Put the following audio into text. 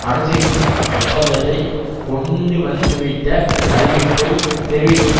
அணுசக்தி ஒப்பந்தத்தை கொண்டுவந்துவிட்ட அறிவிப்பை தெரிவிக்கையில்